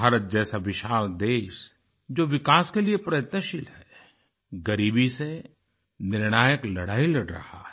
भारत जैसा विशाल देश जो विकास के लिए प्रयत्नशील है ग़रीबी से निर्णायक लड़ाई लड़ रहा है